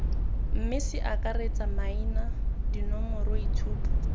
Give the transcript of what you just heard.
mme ce akaretse maina dinomoroitshupo